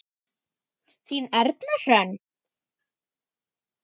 Þín Erna Hrönn.